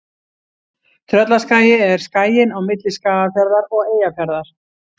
Tröllaskagi er skaginn á milli Skagafjarðar og Eyjafjarðar.